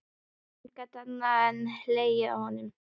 Emil gat ekki annað en hlegið að honum.